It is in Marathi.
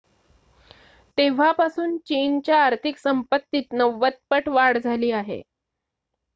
तेव्हापासून चीनच्या आर्थिक संपत्तीत 90 पट वाढ झाली आहे